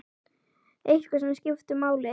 Eitthvað sem skiptir máli?